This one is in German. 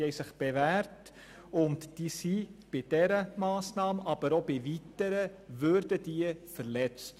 Sie würden bei dieser sowie bei weiteren Massnahmen verletzt.